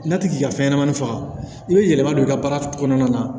N'a ti ka fɛn ɲɛnamani faga i be yɛlɛma don i ka baara kɔnɔna na